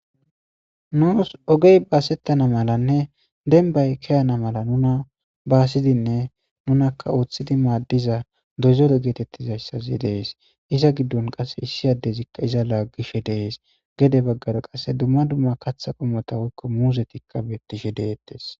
nuos ogey baasettana malanne denbay kiyana mala nuna baasidinne nunakka ooththidi maaddiza dozore geetettizayssazi dees iza giddon qasse issi addezikka iza laaggishe dees gede baggaro qasse dumma dumma katha qomota woykko muuzetikka bettishe deettes